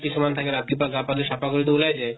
কিছুমান থাকে ৰাতিপুৱা গা পা ধুই চাফা কৰি তো ওলাই যায়